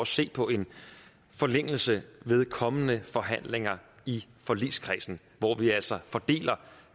se på en forlængelse ved kommende forhandlinger i forligskredsen hvor vi altså fordeler